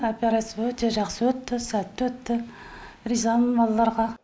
операция өте жақсы өтті сәтті өтті ризамын балаларға